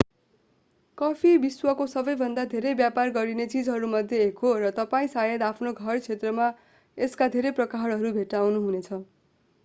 coffee विश्वको सबैभन्दा धेरै व्यापार गरिने चीजहरूमध्ये एक हो र तपाईं सायद आफ्नो घर क्षेत्रमा यसका धेरै प्रकारहरू भेट्टाउनुहुनेछ